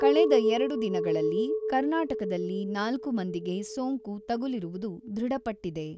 ಕಳೆದ ಎರಡು ದಿನಗಳಲ್ಲಿ ಕರ್ನಾಟಕದಲ್ಲಿ ನಾಲ್ಕು ಮಂದಿಗೆ ಸೋಂಕು ತಗುಲಿರುವುದು ದೃಢ ಪಟ್ಟಿದೆ.